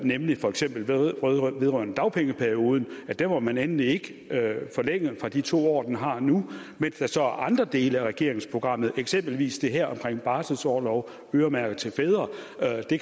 nemlig for eksempel vedrørende dagpengeperioden den må man endelig ikke forlænge fra de to år den har nu mens der så er andre dele af regeringsprogrammet eksempelvis det her omkring barselsorlov øremærket til fædre